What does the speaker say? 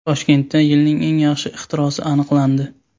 Toshkentda yilning eng yaxshi ixtirosi aniqlandi.